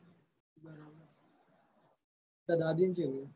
તાર દાદીને ચેવું હે?